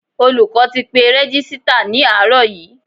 Olùkọ́ ti pe Rẹ́gísítà ní àárọ̀ yí.